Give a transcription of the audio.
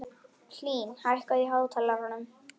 Telma: Akkúrat, þú ræddir við sérstaka saksóknara í dag?